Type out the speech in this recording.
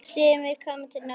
Sumir koma til Noregs.